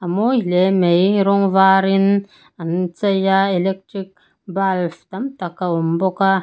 mawi hle mai rawng varin an chei a electric bulb tam tak a awm bawk a.